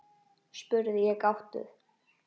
spurði ég gáttuð.